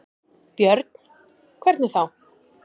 Björn: Hvernig þá?